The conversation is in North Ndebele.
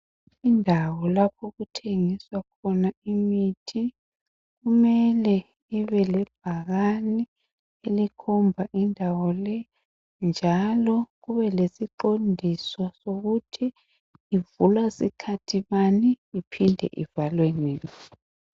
Indawo lapho okuthengiswa khona imithi kumele ibe lebhakani elikhomba indawo le njalo kube lesiqondiso sokuthi ivulwa sikhathi bani iphindwe ivalwe nini.